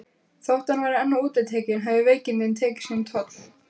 Þótt hann væri enn útitekinn höfðu veikindin tekið sinn toll.